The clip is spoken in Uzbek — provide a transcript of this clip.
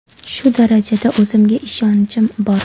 Shu darajada o‘zimga ishonchim bor.